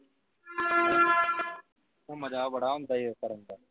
ਆਉਦਾ ਮਜ਼ਾਂ ਬੜਾ ਆਉਂਦਾਹੀ ਕਰਨ ਦਾ